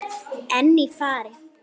En í fari